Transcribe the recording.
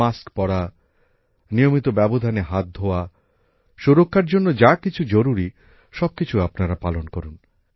mask পরা নিয়মিত ব্যবধানে হাত ধোয়া সুরক্ষার জন্য যা কিছু জরুরী সব কিছু আপনারা পালন করুন